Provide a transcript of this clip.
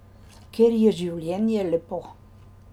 Ker je življenje lepo.